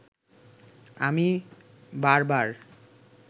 আমি বারবার